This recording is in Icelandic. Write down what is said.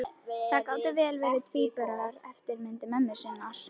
Þær gátu vel verið tvíburar, eftirmyndir mömmu sinnar.